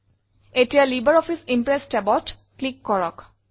এতিয়া LibreOffice Impress tabত click কৰক